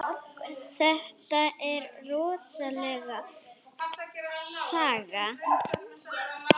Þetta er rosaleg saga.